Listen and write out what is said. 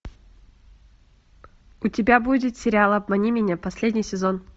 у тебя будет сериал обмани меня последний сезон